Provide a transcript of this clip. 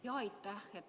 Jaa, aitäh!